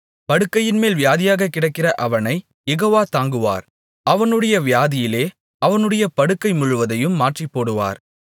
படுக்கையின்மேல் வியாதியாகக் கிடக்கிற அவனைக் யெகோவா தாங்குவார் அவனுடைய வியாதியிலே அவனுடைய படுக்கை முழுவதையும் மாற்றிப்போடுவார்